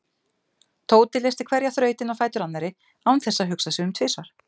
Tóti leysti hverja þrautina á fætur annarri án þess að hugsa sig um tvisvar.